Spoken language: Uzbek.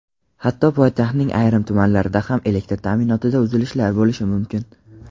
hatto poytaxtning ayrim tumanlarida ham elektr ta’minotida uzilishlar bo‘lishi mumkin.